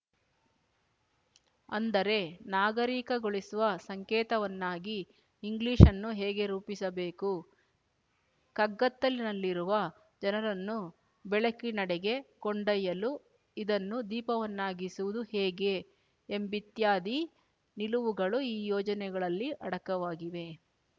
ಅಂದರೆ ನಾಗರಿಕಗೊಳಿಸುವ ಸಂಕೇತವನ್ನಾಗಿ ಇಂಗ್ಲಿಶ್‌ನ್ನು ಹೇಗೆ ರೂಪಿಸಬೇಕು ಕಗ್ಗತ್ತಲಿನಲ್ಲಿರುವ ಜನರನ್ನು ಬೆಳಕಿನೆಡೆಗೆ ಕೊಂಡೊಯ್ಯಲು ಇದನ್ನು ದೀಪವನ್ನಾಗಿಸುವುದು ಹೇಗೆ ಎಂಬಿತ್ಯಾದಿ ನಿಲುವುಗಳು ಈ ಯೋಜನೆಗಳಲ್ಲಿ ಅಡಕವಾಗಿವೆ